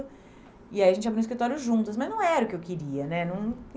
E aí a gente abriu um escritório juntos, mas não era o que eu queria, né? num